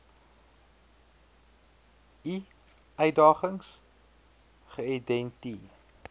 i uitdagings geïdenti